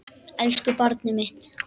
Elsku barnið mitt.